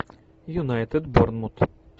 юнайтед борнмут